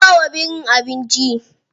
An bawa birin abinci.